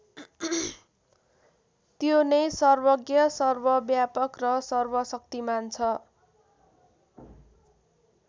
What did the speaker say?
त्यो नै सर्वज्ञ सर्वव्यापक र सर्वशक्तिमान छ ।